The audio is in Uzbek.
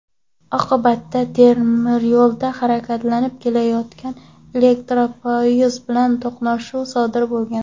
Oqibatda temiryo‘lda harakatlanib kelayotgan elektropoyezd bilan to‘qnashuv sodir bo‘lgan.